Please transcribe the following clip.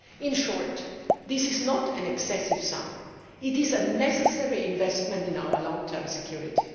In short, this is not an excessive sum it is a necessary investment in our long term security.